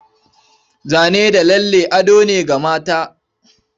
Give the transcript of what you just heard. Zane da lalle ado ne ga mata.